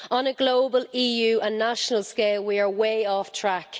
On a global, EU and national scale, we are way off track.